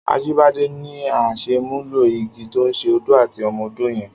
Ajibade ni àṣémúló-igi tó ṣé ódó àtí ọ̀mọ̀-ódó yèn